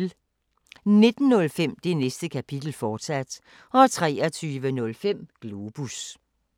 19:05: Det Næste Kapitel, fortsat 23:05: Globus